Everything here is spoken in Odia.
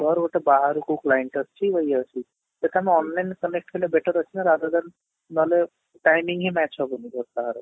ମୋର ଗୋଟେ ବାହାରକୁ client ଅଛି ଇଏ ଅଛି ସେଟା ମୁଁ online connect କଲେ better ଅଛି ନା rather than ନହେଲେ timing ହିଁ match ହବନି କାହାର